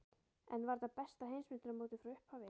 En var þetta besta Heimsmeistaramótið frá upphafi?